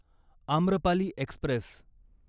Amrapali Express